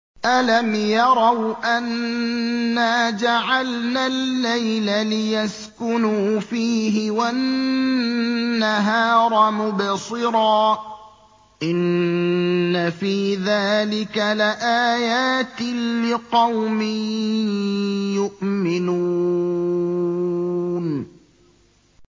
أَلَمْ يَرَوْا أَنَّا جَعَلْنَا اللَّيْلَ لِيَسْكُنُوا فِيهِ وَالنَّهَارَ مُبْصِرًا ۚ إِنَّ فِي ذَٰلِكَ لَآيَاتٍ لِّقَوْمٍ يُؤْمِنُونَ